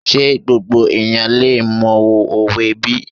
Ṣé gbogbo èèyàn lè mọ òwe bí?